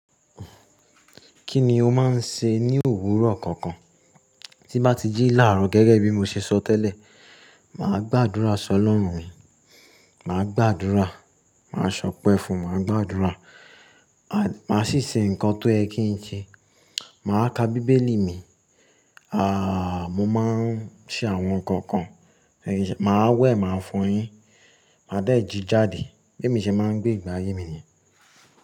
Kíni ó máa ń ṣe ní òwúrọ̀ konkan? Tí n bá ti jí làárọ̀ gẹ́gẹ́ bí mo ṣe sọ tẹ́lẹ̀, mà á gbàdúrà sọ lọ́run mi, mà á gbàdúrà, mà á sọ̀pẹ́ fún, mà á gbàdúrà, mà á sì ṣe nǹkan tó yẹ́ kin se, mà á ka bíbélì mi, àà mọ̀ máa ń ṣe àwọn nǹkan kan, mà á wẹ̀, mà á fọyín, mà á dẹ̀ jí jáde, bí èmi ṣe máa ń gbé ìgbé ayé mi ni.